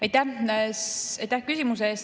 Aitäh küsimuse eest!